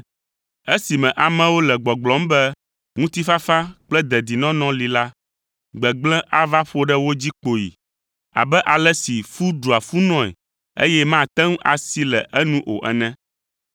Esime amewo le gbɔgblɔm be, “Ŋutifafa kple dedinɔnɔ” li la, gbegblẽ ava ƒo ɖe wo dzi kpoyi abe ale si fu ɖua funɔe, eye mate ŋu asi le enu o ene.